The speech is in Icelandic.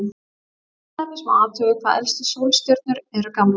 Til dæmis má athuga hvað elstu sólstjörnur eru gamlar.